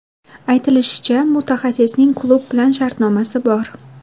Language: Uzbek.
Aytilishicha, mutaxassisning klub bilan shartnomasi bor.